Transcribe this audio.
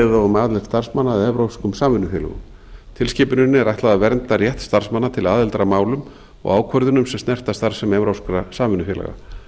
á um aðild starfsmanna að evrópskum samvinnufélögum tilskipuninni er ætlað að vernda rétt starfsmanna til aðildar að málum og ákvörðunum sem snerta starfsemi evrópskra samvinnufélaga